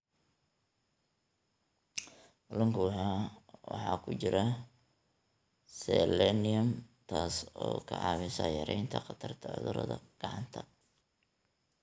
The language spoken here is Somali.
Kalluunka waxaa ku jira selenium, taas oo ka caawisa yaraynta khatarta cudurada gacanta.